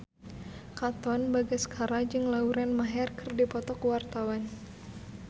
Katon Bagaskara jeung Lauren Maher keur dipoto ku wartawan